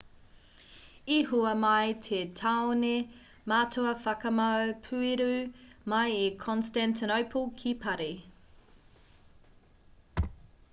i hua mai te taone matua whakamau pueru mai i constantinople ki parī